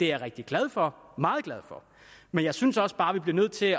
jeg rigtig glad for meget glad for men jeg synes også bare vi er nødt til